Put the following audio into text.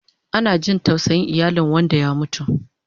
Ana jin tausayin iyalen wanda ya mutu